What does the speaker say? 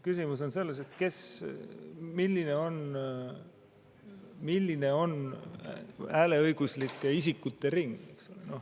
Küsimus on selles, milline on hääleõiguslike isikute ring.